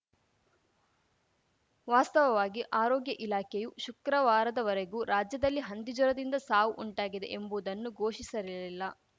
ವಾಸ್ತವವಾಗಿ ಆರೋಗ್ಯ ಇಲಾಖೆಯು ಶುಕ್ರವಾರದವರೆಗೂ ರಾಜ್ಯದಲ್ಲಿ ಹಂದಿ ಜ್ವರದಿಂದ ಸಾವು ಉಂಟಾಗಿದೆ ಎಂಬುದನ್ನು ಘೋಷಿಸಿರಲಿಲ್ಲ